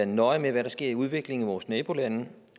nøje med i hvad der sker i udviklingen i vores nabolande